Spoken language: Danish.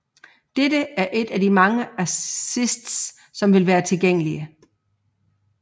Dette er et af de mange assists som vil være tilgængelige